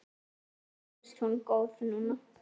Henni finnst hún góð núna.